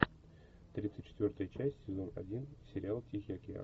тридцать четвертая часть сезон один сериал тихий океан